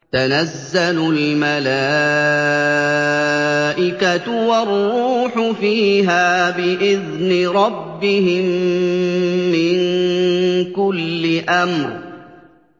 تَنَزَّلُ الْمَلَائِكَةُ وَالرُّوحُ فِيهَا بِإِذْنِ رَبِّهِم مِّن كُلِّ أَمْرٍ